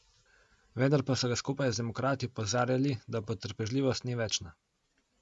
Vendar pa so ga skupaj z demokrati opozarjali, da potrpežljivost ni večna.